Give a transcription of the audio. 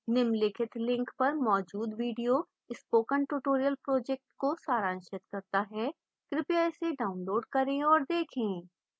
निम्नलिखित link पर मौजूद video spoken tutorial project को सारांशित करता है कृपया इसे डाउनलोड करें और देखें